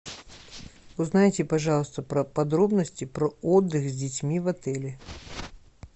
узнайте пожалуйста про подробности про отдых с детьми в отеле